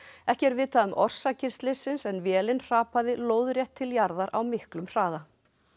ekki er vitað um orsakir slyssins en vélin hrapaði lóðrétt til jarðar á miklum hraða